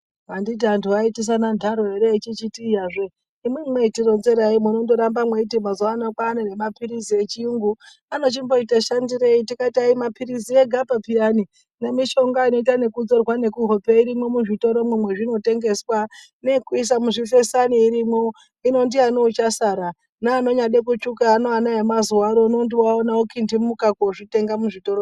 Anditi antu aiitisana ntaro ere echichiti iyazve imwimwi mweitironzerai munondoramba mweiiti mazuwa ano kwaane mapilizi echirungu anochimboita shandireyi tikati aimapilizi egapi peyani nemishonga inoite ekudzorwa nemuhope irimwo muzvitoromwo mwainotengeswa neyekuisa muchifesana irimwo hino ndiyani uchasara neanonyamboda kutsvuka ana emazuwa anaya okintimuka kozvitengamwo muzvitoromwo.